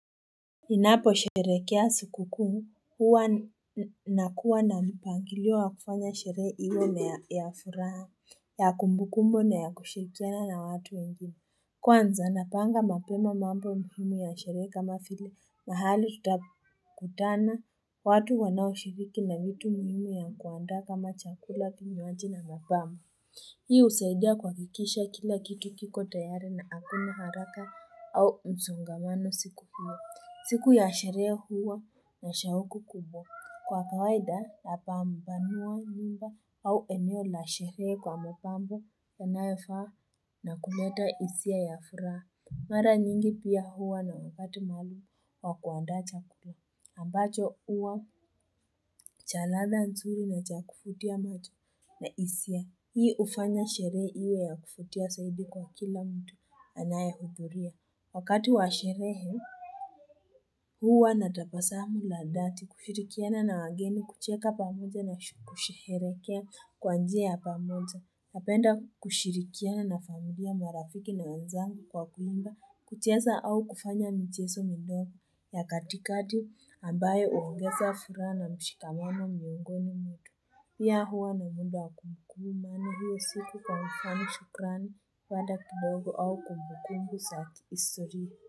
Ninapo sherehekea sikukuu huwa nakuwa na mpangilio wa kufanya sherehe iyo na ya furaha ya kumbukumbu na ya kushirikiana na watu wengi Kwanza, napanga mapema mambo muhimu ya sherehe kama vile mahali tutakutana. Watu wanao shiriki na vitu muhimu ya kuandaa kama chakula kinywaji na mapamba. Hii husaidia kuhakikisha kila kitu kiko tayari na hakuna haraka au msongamano siku hiyo. Siku ya sherehe huwa na shauku kubwa. Kwa kawaida napambanua nyumba au eneo la sherehe kwa mapambo yanayofaa na kuleta hisia ya furaha. Mara nyingi pia huwa na watu maalum wa kuandaa chakula. Ambacho huwa cha ladha nzuri na cha kuvutia macho na hisia. Hii hufanya sherehe iwe ya kuvutia zaidi kwa kila mtu anaye hudhuria. Wakati wa sherehe, huwa natabasamu la dhati kushirikiana na wageni kucheka pamoja na kusherehekea kwa njia ya pamoja. Napenda kushirikiana na familia marafiki na wenzangu kwa kuimba kucheza au kufanya mchezo midogo ya katikati ambayo huongeza furaha na mshikamano miongoni mwetu. Pia huwa na muda kumbukumbu maana hiyo siku kwa mfano shukrani wala kidogo au kumbukumbu za histori.